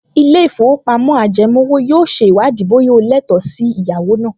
Ilé-ìfowópamọ́ ajẹmówò yóò ṣe ìwádìí bóyá o lẹ́tọ̀ọ́ sí ẹ̀yáwó náà